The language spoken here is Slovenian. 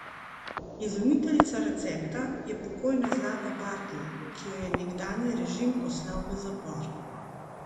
Izumiteljica recepta je pokojna Zlata Bartl, ki jo je nekdanji režim poslal v zapor.